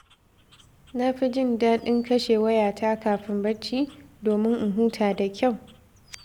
Na fi jin daɗin kashe wayata kafin barci, domin in huta da kyau.